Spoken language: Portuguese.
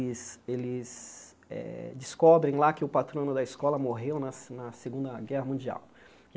eles eh descobrem lá que o patrono da escola morreu na na Segunda Guerra Mundial.